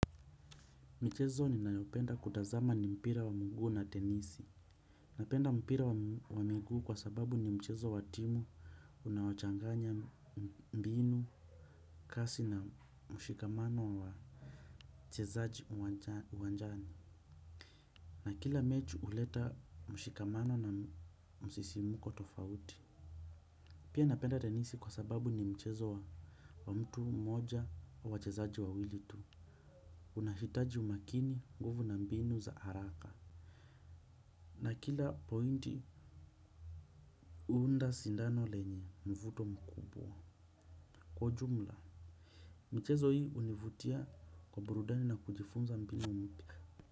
Michezo ninayopenda kutazama ni mpira wa mugu na denisi. Napenda mpira wa migu kwa sababu ni mchezo wa timu unawo changanya mbinu kasi na mshikamano wa mchezaji uwanjani. Na kila mechi uleta mshikamano na msisimuko tofauti. Pia napenda denisi kwa sababu ni mchezo wa mtu moja au wachezaji wawili tu. Unahitaji umakini nguvu na mbinu za haraka. Na kila pointi huunda sindano lenye mvuto mkubwa. Kwa jumla michezo hii univutia kwa burudani na kujifunza mbini mpya.